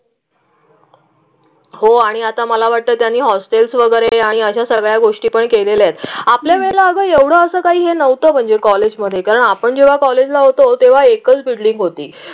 हो आणि आता मला वाटतं त्यांनी हॉस्टेल्स वगैरे आणि अशा सगळ्या गोष्टीपण केले आहेत. आपल्या वेगळं असं काही नव्हतं म्हणजे कॉलेजमध्ये. कारण आपण जेव्हा कॉलेजला होतो तेव्हा एकच बिल्डिंग होती.